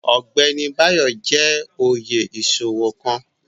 Ọgbẹni Bayo jẹ́ oyè iṣowo kan